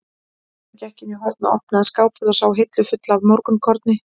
Smári gekk inn í horn, opnaði skáphurð og sá hillu fulla af morgunkorni.